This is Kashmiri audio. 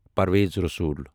پرویز رسول